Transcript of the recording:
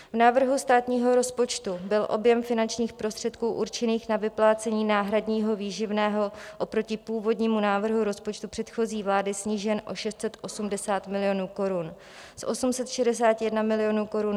V návrhu státního rozpočtu byl objem finančních prostředků určených na vyplácení náhradního výživného oproti původnímu návrhu rozpočtu předchozí vlády snížen o 680 milionů korun, z 861 milionů korun na pouhých 181 milionů korun.